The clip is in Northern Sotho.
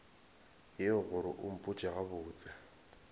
yeo gore o mpotše gabotse